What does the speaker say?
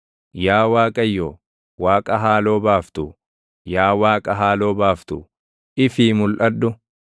Yaa Waaqayyo, Waaqa haaloo baaftu, Yaa Waaqa haaloo baaftu, ifii mulʼadhu.